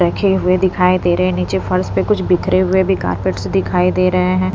रखे हुए दिखाई दे रहे हैं नीचे फर्स पे कुछ बिखरे हुए भी कार्पेट्स दिखाई दे रहे हैं।